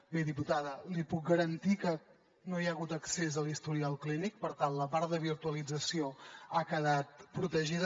bé diputada li puc garantir que no hi ha hagut accés a l’historial clínic per tant la part de virtualització ha quedat protegida